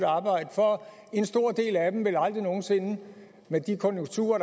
arbejde for en stor del af dem vil aldrig nogen sinde med de konjunkturer og